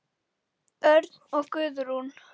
Örn og Guðrún.